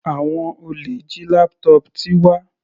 Àwọn olè jí laptop Tiwa.